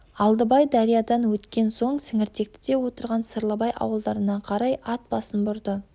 алдыбай дариядан өткен соң сіңіртектіде отырған сырлыбай ауылдарына қарай ат басын бұрды